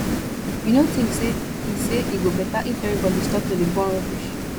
you no think sey e sey e go beta if everybodi stop to dey burn rubbish